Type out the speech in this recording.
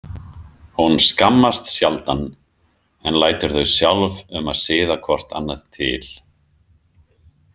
Hún skammast sjaldan en lætur þau sjálf um að siða hvort annað til.